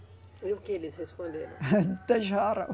E o que eles responderam?